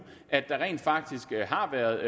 at der rent faktisk har været